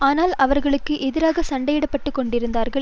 ஆனால் அவர்கள் எதற்காக சண்டையிட்டு கொண்டிருந்தார்கள்